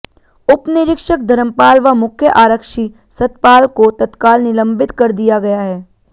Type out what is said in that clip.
उपनिरीक्षक धर्मपाल व मुख्य आरक्षी सतपाल को तत्त्काल निलंबित कर दिया गया है